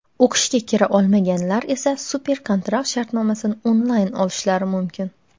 o‘qishga kira olmaganlar esa super-kontrakt shartnomasini onlayn olishlari mumkin.